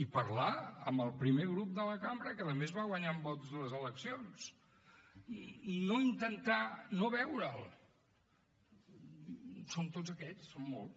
i parlar amb el primer grup de la cambra que a més va guanyar en vots les eleccions no intentar no veure’l són tots aquests són molts